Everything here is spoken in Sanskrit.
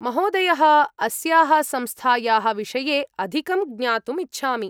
महोदयः, अस्याः संस्थायाः विषये अधिकं ज्ञातुम् इच्छामि।